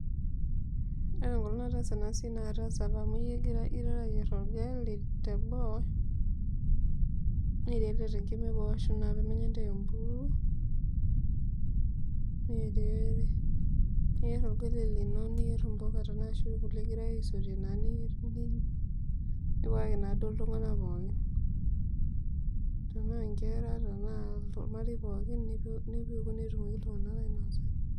Ore enkolong nataasa enasia na kataasa amu egirae ayier orgali teboo tenkima eboo pemekintar empuruo niyier orgali lino ashu mbuka tanaa ninche egirai aisotie naa ninche nipikaki naa ltunganak pookin tanaa nkera tanaa ormarei pookin nipiku petumoki ltunganak ainosa.